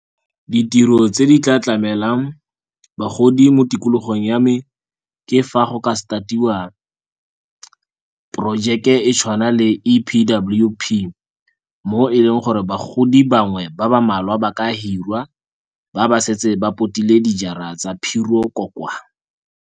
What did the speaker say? Ditiro tse di tla tlamelang bagodi mo tikologong ya me ke fa go ka start-iwa porojeke e tshwana le E_P_W_P, mo e leng gore bagodi bangwe ba ba mmalwa ba ka hirwa ba ba setse ba potile dijara tsa phiro ko kwa.